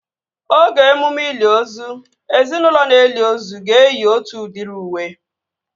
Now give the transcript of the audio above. Oge emume ili ozu, ezinaụlọ na-eli ozu ga-eyi otu udiri uwe